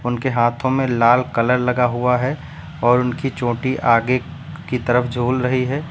उनके हाथों में लाल कलर लगा हुआ है और उनकी चोटी आगे की तरफ झूल रही है।